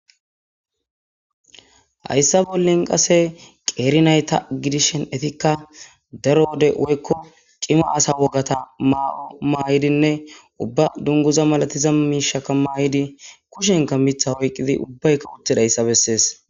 hayssa bollen qase qeerinayta gidishen efikka daro wode woykko qima asa wogata maa7o maayidinne ubba dunguza malatiza miishaka maayidi kushenka mitha hoyqqidi ubbay kawutidayssa bessees